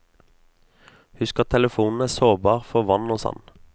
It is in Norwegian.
Husk at telefonen er sårbar for vann og sand.